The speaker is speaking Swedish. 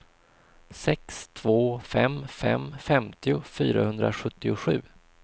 sex två fem fem femtio fyrahundrasjuttiosju